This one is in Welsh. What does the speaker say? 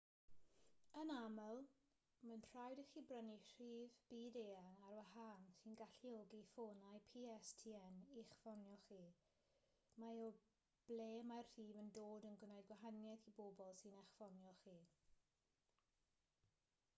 yn aml mae'n rhaid i chi brynu rhif byd-eang ar wahân sy'n galluogi ffonau pstn i'ch ffonio chi mae o ble mae'r rhif yn dod yn gwneud gwahaniaeth i bobl sy'n eich ffonio chi